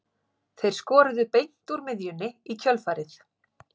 Þeir skoruðu beint úr miðjunni í kjölfarið.